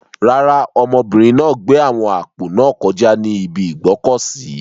Rárá, ọmọbìnrin náà gbé àwọn àpò náà kọjá ní ibi ìgbọ́kọ̀sìí.